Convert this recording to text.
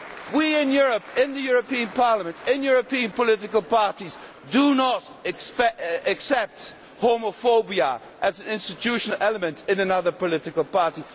We in Europe, in the European Parliament, in European political parties, do not accept homophobia as an institutional element in another political party.